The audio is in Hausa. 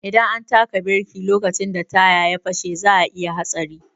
Idan an taka biriki lokacin da taya ya fashe za'a iya hatsari.